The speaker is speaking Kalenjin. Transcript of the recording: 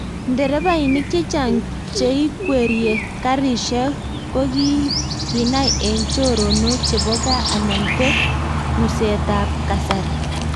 nderefainik chechang cheikwerie karishek koginai eng choronok chebo gaa anan ko ngusetab kasari